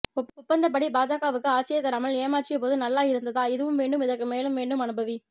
ஒப்பந்தப்படி பாஜகவுக்கு ஆட்சியை தராமல் ஏமாற்றியபோது நல்லா இருந்ததா இதுவும் வேண்டும் இதற்கு மேலும் வேண்டும் அனுபவி